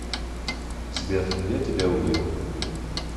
сбер я тебя убью